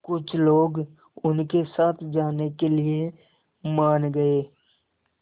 कुछ लोग उनके साथ जाने के लिए मान गए